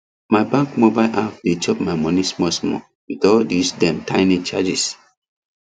my bank mobile app dey chop my money smallsmall with all dis dem tiny charges